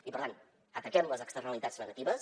i per tant ataquem les externalitats negatives